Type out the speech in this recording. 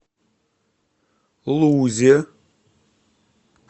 лузе